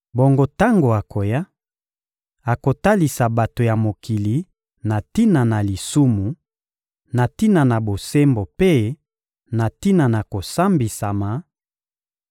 Bongo tango akoya, akotalisa bato ya mokili na tina na lisumu, na tina na bosembo mpe na tina na kosambisama: